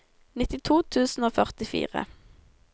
nittito tusen og førtifire